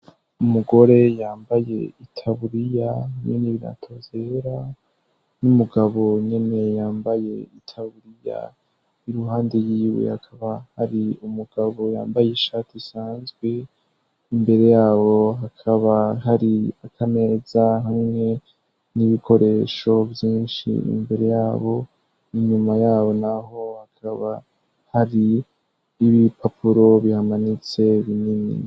Umugore yambaye itaburiya hamwe n'ibiratozera n'umugabo nyene yambaye itaburiya i ruhande yiwe hakaba hari umugabo yambaye ishatu isanzwe imbere yabo hakaba hari akameza hamwe n'ibikoresho vyinshi imbere yabo inyuma yabo, naho hakaba hari ibi papuro bihamanitse binini.